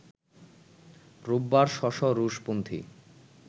রোববার শ’ শ’ রুশপন্থি